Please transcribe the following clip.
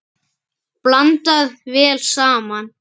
Blandað vel saman.